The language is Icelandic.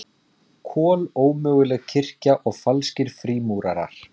Kolómöguleg kirkja og falskir frímúrarar